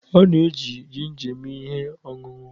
A na-eji jinja eme ihe ọṅụṅụ.